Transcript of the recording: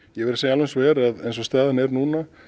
ég verð að segja alveg eins og er að eins og staðan er núna